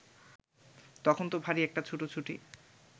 তখন ত ভারি একটা ছুটোছুটি